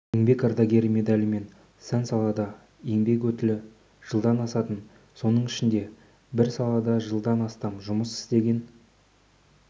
еңбек ардагері медалімен сан-салада еңбек өтілі жылдан асатын соның ішінде бір салада жылдан астам жұмыс істеген